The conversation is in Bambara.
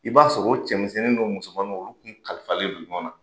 I b'a sɔrɔ o cɛmisɛnnin ni o musomannin olu kun kalifalen don ɲɔgɔn na